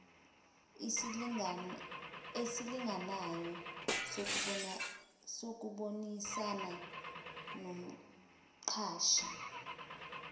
esilinganayo sokubonisana nomqashi